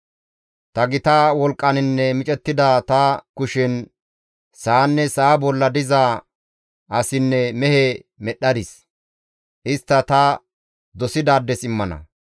Ta gita wolqqaninne micettida ta kushen sa7anne sa7a bolla diza asinne mehe medhdhadis. Istta ta dosidaades immana.